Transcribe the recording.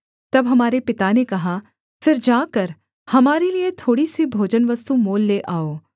तब हमारे पिता ने कहा फिर जाकर हमारे लिये थोड़ी सी भोजनवस्तु मोल ले आओ